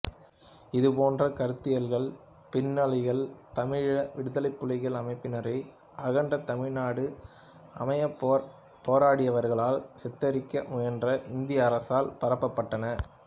இதுபோன்ற கருத்தியல்கள் பின்னாளில் தமிழீழ விடுதலைப்புலிகள் அமைப்பினரை அகண்ட தமிழ்நாடு அமையப் போராடியவர்களாக சித்தரிக்க முயன்ற இந்திய அரசால் பரப்பப்பட்டன